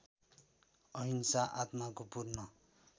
अहिंसा आत्माको पूर्ण